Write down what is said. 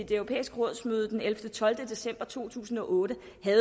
det europæiske rådsmøde den ellevte tolv december to tusind og otte